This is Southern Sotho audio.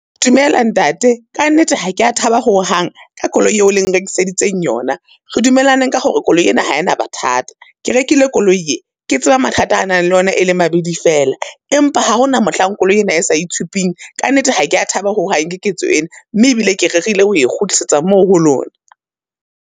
Dumela ntate, ka nnete ha ke ya thaba ho hang ka koloi eo leng rekiseditseng yona. Re dumelane ka hore koloi ena ha ena mathata. Ke rekile koloi e, ke tseba mathata a nang le yona e leng mabidi fela, empa ha hona mohlang koloi ena e sa itshupang. Ka nnete, ha ke ya thaba ho hang ke ketso ena, mme e bile ke rerile ho e kgutlisetsa moo ho lona.